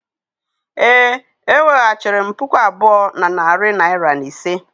Ee, eweghachiri m puku abụọ na narị naira na ise.